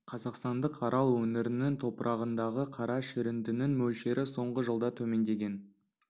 қазақстандық арал өңірінің топырағындағы қара шіріндінің мөлшері соңғы жылда төмендеген